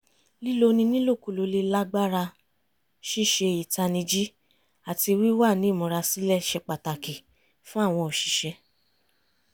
líloni nílòkulò le lágbàra ṣíṣe ìtanijí àti wíwa ní ìmúra sílẹ̀ ṣe pàtàkì fún àwọn òṣìṣẹ́